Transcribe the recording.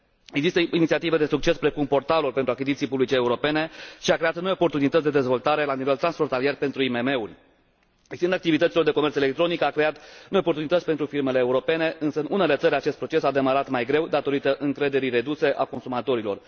Există inițiative de succes, precum portalului pentru achiziții publice europene, ce a creat noi oportunități de dezvoltare la nivel transfrontalier pentru IMM uri. Extinderea activităților de comerț electronic a creat noi oportunități pentru firmele europene, însă în unele țări acest proces a demarat mai greu, datorită încrederii reduse a consumatorilor.